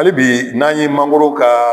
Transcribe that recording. Hali bi n'an ye mangoro ka